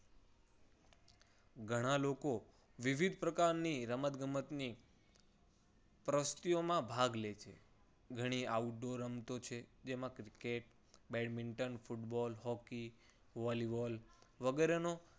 ઘણા લોકો વિવિધ પ્રકારની રમતગમતની પ્રવૃત્તિઓમાં ભાગ લે છે. ઘણી outdoor રમતો છે. જેમાં cricket, badminton, football, hockey, volleyball વગેરેનો